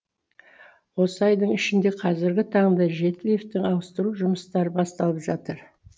осы айдың ішінде қазіргі таңда жеті лифті ауыстыру жұмыстары басталып жатыр